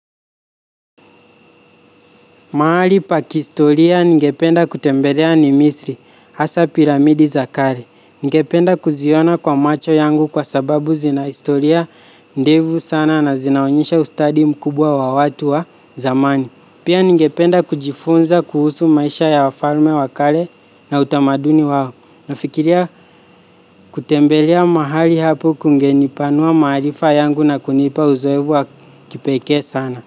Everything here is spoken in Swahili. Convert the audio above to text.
Mahali pa kistoria ningependa kutembelea ni misri, hasa piramidi za kale. Ningependa kuziona kwa macho yangu kwa sababu zina historia ndefu sana na zinaonyesha ustadi mkubwa wa watu wa zamani. Pia ningependa kujifunza kuhusu maisha ya wafalme wa kale na utamaduni wao. Nafikiria kutembelea mahali hapo kungenipanua maarifa yangu na kunipa uzoefu wa kipekee sana.